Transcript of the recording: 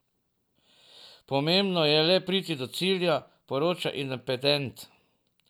Pomembno je le priti do cilja, poroča Independent.